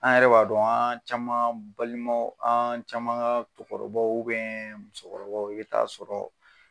An yɛrɛ b'a dɔn an caman balimaw an caman ka cɛkɔrɔbaw musokɔrɔbaw bɛ t'a sɔrɔ